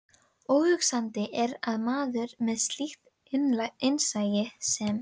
Óhugsandi er að maður með slíkt innsæi sem